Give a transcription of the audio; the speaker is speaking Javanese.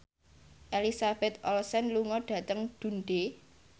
Elizabeth Olsen lunga dhateng Dundee